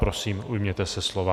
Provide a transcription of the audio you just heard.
Prosím, ujměte se slova.